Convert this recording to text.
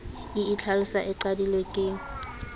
e itlhalosa e qadilwe ke